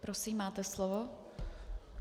Prosím, máte slovo.